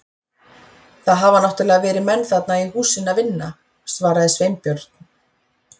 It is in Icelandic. Það hafa náttúrlega verið menn þarna í húsinu að vinna- svaraði Sveinbjörn.